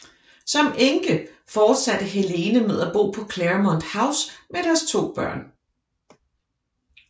Som enke fortsatte Helene med at bo på Claremont House med deres to børn